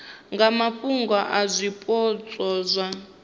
nga mafhungo a zwipotso zwa